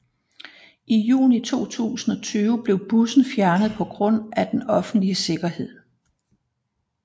I juni 2020 blev bussen fjernet på grund af den offentlige sikkerhed